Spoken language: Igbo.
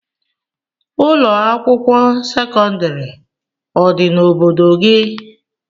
Ụlọakwụkwọ sekọndịrị ọ dị n'obodo gị?